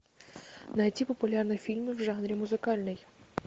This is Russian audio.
найти популярные фильмы в жанре музыкальный